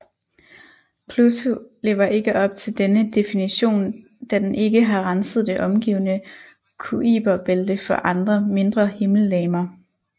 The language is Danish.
Pluto lever ikke op til denne definition da den ikke har renset det omgivende Kuiperbælte for andre mindre himmellegemer